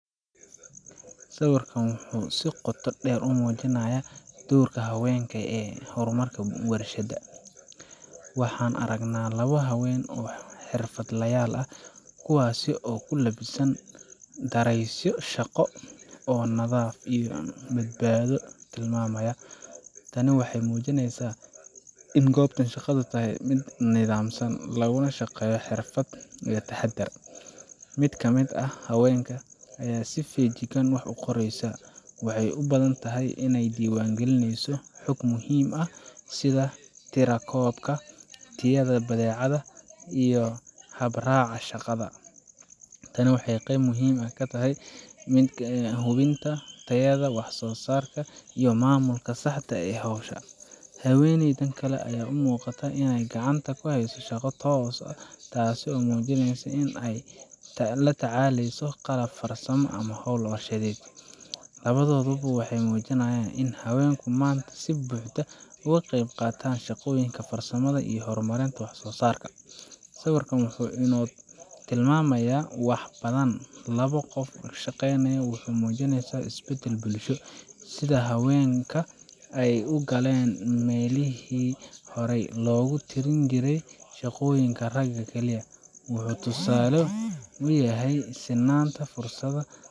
Sawirkan wuxuu si qoto dheer u muujinayaa doorka haweenka ee horumarka warshadaha. Waxaan aragnaa labo haween ah oo xirfadlayaal ah, kuwaasoo ku labisan dareesyo shaqo oo nadaafad iyo badbaado tilmaamaya. Tani waxay muujinaysaa in goobtan shaqadu tahay mid nidaamsan, laguna shaqeeyo xirfad iyo taxaddar. Mid ka mid ah haweenka ayaa si feejigan wax u qoraysa waxay u badan tahay in ay diiwaangelinayso xog muhiim ah sida tirakoobka, tayada badeecadda, ama habraaca shaqada. Tani waa qayb muhiim ah oo ka mid ah hubinta tayada wax soo saarka iyo maamulka saxda ah ee hawsha. Haweeneyda kale waxay muuqataa inay gacanta ku hayso shaqo toos ah, taasoo muujinaysa in ay la tacaaleyso qalab farsamo ama hawl warshadeed. Labadooduba waxay muujinayaan in haweenku maanta si buuxda uga qayb qaataan shaqooyinka farsamada iyo hormarinta waxsoosaarka. Sawirkan wuxuu inoo tilmaamayaa wax ka badan labo qof oo shaqaynaya. Wuxuu muujinayaa isbeddel bulsho sida haweenka ay u galeen meelihii horay loogu tirin jiray shaqooyinka ragga kaliya. Wuxuu tusaale u yahay sinnaanta fursada.